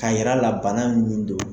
K'a yir'a la bana min don,